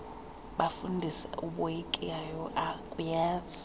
bafundisi uboyikayo akuyazi